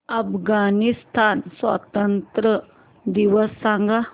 अफगाणिस्तान स्वातंत्र्य दिवस सांगा